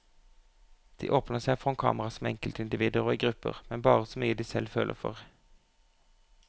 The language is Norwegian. De åpner seg foran kamera som enkeltindivider og i grupper, men bare så mye de selv føler for.